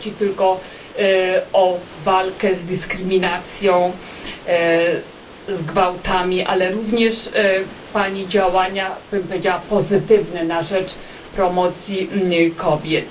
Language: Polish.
Nie chodzi tylko o walkę z dyskryminacją, z gwałtami, ale również o Pani działania powiedziałabym pozytywne na rzecz promocji kobiet.